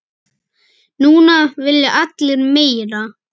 Núna vilja allir meira.